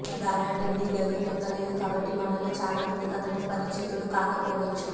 దారా ఢిల్లీ గద్దె నెక్కలేదు కాబట్టి మనలో చాలామందికి అతను పరిచితుడు కాకపోవచ్చు